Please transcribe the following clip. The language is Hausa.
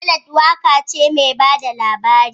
Ballad waka ce mai ba da labari